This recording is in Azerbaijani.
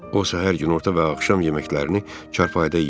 O səhər, günorta və axşam yeməklərini çarpayda yeyirdi.